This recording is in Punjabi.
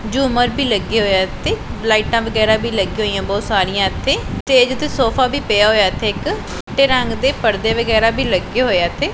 ਝੂਮਰ ਵੀ ਲੱਗਿਆ ਹੋਇਆ ਇੱਥੇ ਲਾਈਟਾਂ ਵਗੈਰਾ ਵੀ ਲੱਗਿਆਂ ਹੋਈਆਂ ਬਹੁਤ ਸਾਰੀਆਂ ਇੱਥੇ ਤੇ ਜਿੱਥੇ ਸੋਫਾ ਵੀ ਪਿਆ ਹੋਇਆ ਹੈ ਇੱਥੇ ਇੱਕ ਚਿੱਟੇ ਰੰਗ ਦੇ ਪਰਦੇ ਵਗੈਰਾ ਵੀ ਲੱਗੇ ਹੋਏਆ ਇੱਥੇ।